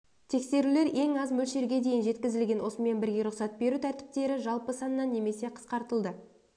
тексерулер ең аз мөлшерге дейін жеткізілген осымен бірге рұқсат беру тәртіптері жалпы саннан немесе қысқартылды